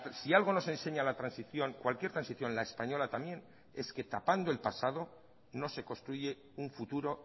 si algo nos enseña la transición cualquier transición la española también es que tapando el pasado no se construye un futuro